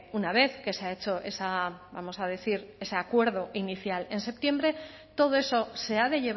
una vez que se ha hecho vamos a decir ese acuerdo inicial en septiembre todo eso se ha de